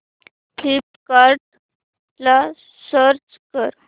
फ्लिपकार्टं ला स्विच कर